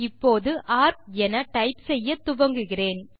இப்போது நான் ஏஆர்சி என டைப் செய்ய துவங்குகிறேன்